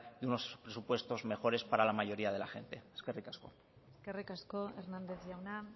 de unos presupuestos mejores para la mayoría de la gente eskerrik asko eskerrik asko hernández jauna